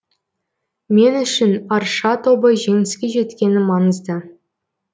мен үшін арша тобы жеңіске жеткені маңызды